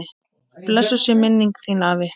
Blessuð sé minning þín, afi.